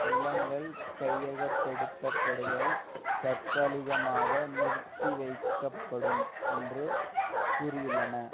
நிலங்கள் கையகப்படுத்தப்படுதல் தற்காலிகமாக நிறுத்திவைக்கப்படும் என்றும் கூறியுள்ளன